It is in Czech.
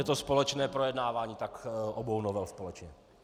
Je to společné projednávání, tak obou novel společně.